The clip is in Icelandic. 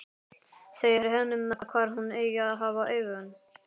Segir henni hvar hún eigi að hafa augun.